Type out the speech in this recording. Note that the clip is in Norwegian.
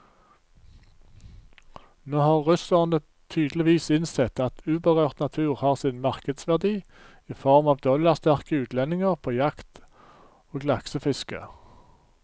Nå har russerne tydeligvis innsett at uberørt natur har sin markedsverdi i form av dollarsterke utlendinger på jakt og laksefiske.